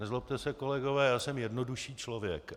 Nezlobte se, kolegové, já jsem jednodušší člověk.